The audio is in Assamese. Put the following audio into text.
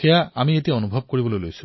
সেয়া আজি অনুভৱ হৈছে